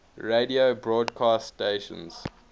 radio broadcast stations